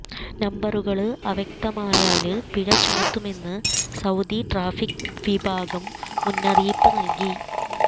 നമ്പരുകള് അവ്യക്തമായാല് പിഴ ചുമത്തുമെന്ന് സൌദി ട്രാഫിക് വിഭാഗം മുന്നറിയിപ്പ് നല്കി